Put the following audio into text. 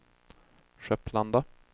Skepplanda